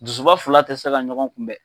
Dusuba fila tɛ se ka ɲɔgɔn kunbɛn.